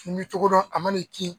K'i min cogo dɔ a ma n'i kin.